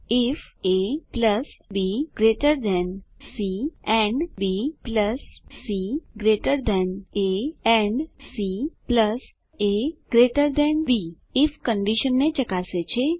ifabસી and bcએ and caબી if કંડીશનને ચકાસે છે